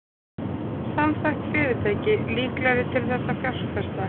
Samþætt fyrirtæki líklegra til að fjárfesta